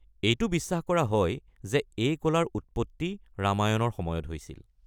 এইটো বিশ্বাস কৰা হয় যে এই কলাৰ উৎপত্তি ৰামায়ণৰ সময়ত হৈছিল।